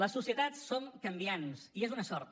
les societats són canviants i és una sort